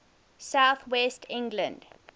south west england